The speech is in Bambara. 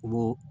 Olu